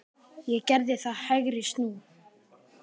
Ég gerði það, hægri snú.